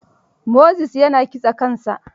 Moses ya na kitsa kansa.